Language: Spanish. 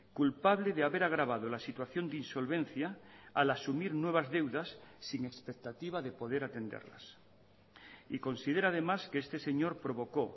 culpable de haber agravado la situación de insolvencia al asumir nuevas deudas sin expectativa de poder atenderlas y considera además que este señor provocó